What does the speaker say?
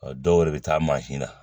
dɔw de bɛ taa mansi na